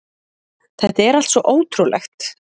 Þetta er allt svo ótrúlegt